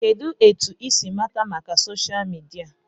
Kedụ etu I si mata maka soshal midia?